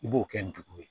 I b'o kɛ ndugu ye